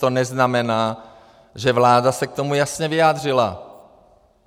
To neznamená, že vláda se k tomu jasně vyjádřila.